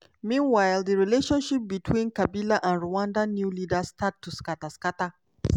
meanwhile di relationship between kabila and rwanda new leaders start to scata. scata.